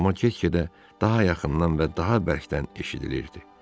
Ulama get-gedə daha yaxından və daha bərkdən eşidilirdi.